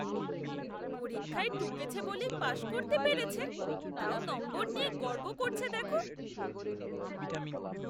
পরীক্ষায় টুকেছে বলেই পাশ করতে পেরেছে, তাও নম্বর নিয়ে গর্ব করছে দেখো?